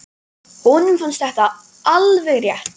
Honum fannst þetta alveg rétt.